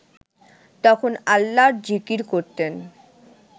তখন আল্লাহর জিকির করতেন